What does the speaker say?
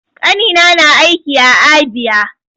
Ƙanina na aiki a Abia.